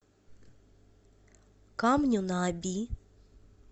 камню на оби